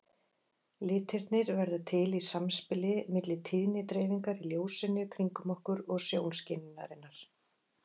Litirnir verða til í samspili milli tíðnidreifingar í ljósinu kringum okkur og sjónskynjunarinnar.